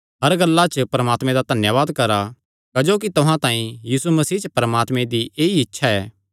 हर गल्ला च परमात्मे दा धन्यावाद करा क्जोकि तुहां तांई यीशु मसीह च परमात्मे दी ऐई इच्छा ऐ